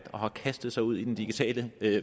og har kastet sig ud i den digitale